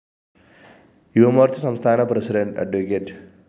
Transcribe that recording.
യുവമോര്‍ച്ച സംസ്ഥാന പ്രസിഡന്റ് അഡ്വ